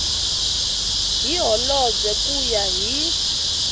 hi holobye ku ya hi